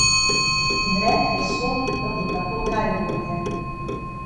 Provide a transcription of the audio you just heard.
Večji del zemljišča, na katerem stoji romsko naselje, je v lasti novomeške kmetijske zadruge Krka.